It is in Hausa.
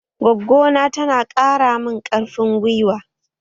Goggona tana ƙara mun ƙarfin gwiwa